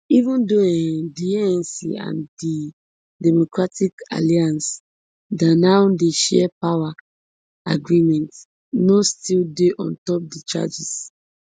even though um di anc and di democratic alliance da now dey share power agreement no still dey on top di changes